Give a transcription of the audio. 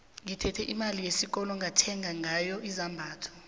ngithethe imali yesikolo ngathenga ngayo izambatho